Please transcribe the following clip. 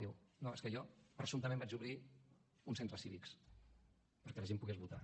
diu no és que jo presumptament vaig obrir uns centres cívics perquè la gent pogués votar